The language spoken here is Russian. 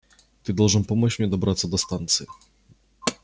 ты должен помочь мне добраться до станции